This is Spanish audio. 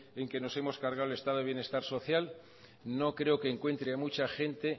en que nos hemos cargado el estado de bienestar social no creo que encuentre a mucha gente